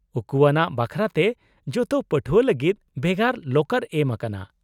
-ᱩᱠᱩᱣᱟᱱᱟᱜ ᱵᱟᱠᱷᱨᱟᱛᱮ, ᱡᱚᱛᱚ ᱯᱟᱹᱴᱷᱣᱟᱹ ᱞᱟᱹᱜᱤᱫ ᱵᱷᱮᱜᱟᱨ ᱞᱚᱠᱟᱨ ᱮᱢ ᱟᱠᱟᱱᱟ ᱾